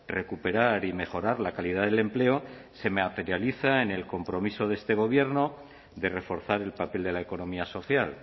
recuperar y mejorar la calidad del empleo se materializa en el compromiso de este gobierno de reforzar el papel de la economía social